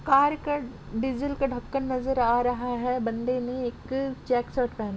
car का diesel का ढक्कन नजर आ रहा है बंदे ने एक-के-चेक्स शर्ट पहना --